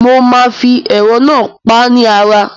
Mo máa fi ẹ̀rọ náà pá ni ara.